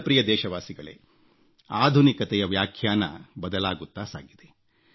ನನ್ನ ಪ್ರಿಯ ದೇಶವಾಸಿಗಳೇ ಆಧುನಿಕತೆಯ ವ್ಯಾಖ್ಯಾನ ಬದಲಾಗುತ್ತಾ ಸಾಗಿದೆ